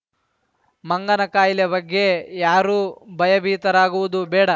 ಮಂಗನ ಖಾಯಿಲೆ ಬಗ್ಗೆ ಯಾರು ಭಯಬೀತರಾಗುವುದು ಬೇಡ